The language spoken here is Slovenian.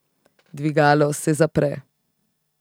Dvigalo se zapre.